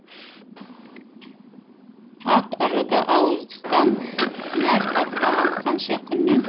ат арыды ауыздықтан нәр татпаған қанша күннен